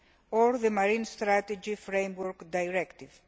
and the Marine Strategy Framework Directive.